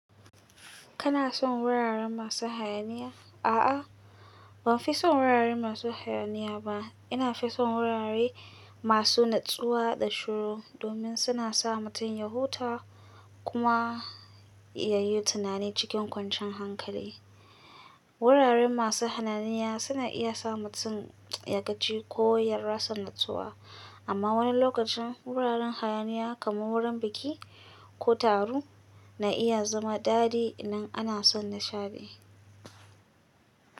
Kana son wuraren masu hayaniya? A'a, ban fi son wuraren masu hayaniya ba. Ina fi son wurare masu natsuwa da shiru domin suna sa mutum ya huta kuma ya yi tunani cikin kwanciyar hankali. Wuraren masu hananiya suna iya sa mutum ya gaji ko ya rasa natsuwa. Amma wani lokacin wuraren hayaniya kamar wurin biki ko taro na iya zama daɗi in ana son nishaɗi.